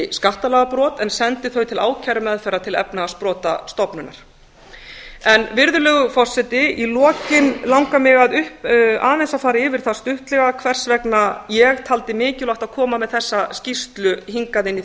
skattalagabrot en sendi þau til ákærumeðferðar til efnahagsbrotastofnunar virðulegur forseti í lokin langar mig aðeins að fara yfir það stuttlega hvers vegna ég taldi mikilvægt að koma með þessa skýrslu hingað inn í